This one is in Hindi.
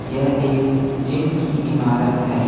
यह एक जिम की इमारत है।